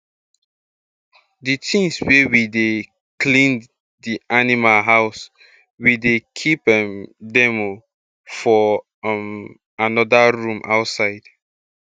d tins wey we take dey clean d animal house we dey keep um dem um for um um anoda room outside